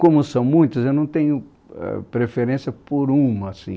Como são muitas, eu não tenho ãh preferência por uma, assim.